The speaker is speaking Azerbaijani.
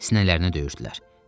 Sinələrinə döyürdülər.